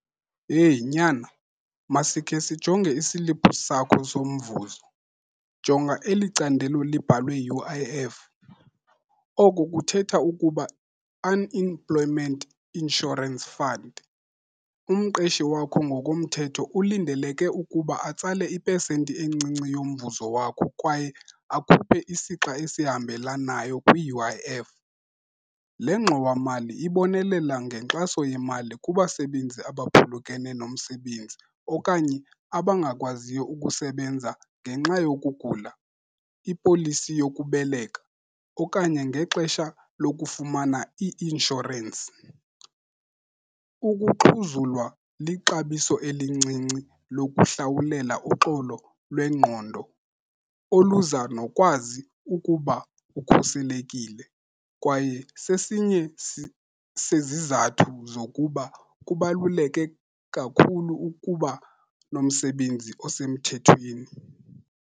Yeyi nyana, masikhe sijonge isiliphu sakho somvuzo. Jonga eli candelo libhalwe U_I_F, oku kuthetha ukuba Unemployment Insurance Fund. Umqeshi wakho ngokomthetho ulindeleke ukuba atsale ipesenti encinci yomvuzo wakho kwaye akhuphe isixha esihambelanayo kwi-U_I_F. Le ngxowamali ibonelela ngenkxaso yemali kubasebenzi abaphulukene nomsebenzi okanye abangakwaziyo ukusebenza ngenxa yokugula, ipolisi yokubeleka okanye ngexesha lokufumana i-inshorensi. Ukuxhuzulwa lixabiso elincinci lokuhlawulela uxolo lwengqondo oluza nokwazi ukuba ukhuselekile kwaye sesinye sezizathu zokuba kubaluleke kakhulu ukuba nomsebenzi osemthethweni.